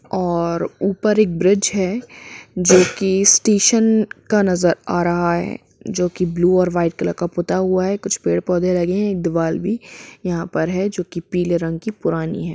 और ऊपर एक ब्रिज है जो की स्टेशन का नजर आ रहा है जो की ब्लू और व्हाइट कलर का पुता हुवा है कुछ पेड़ पौधे लगे है दीवाल भी यहा पर है जो की पीले रंग की पुरानी है।